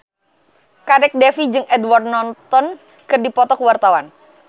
Kadek Devi jeung Edward Norton keur dipoto ku wartawan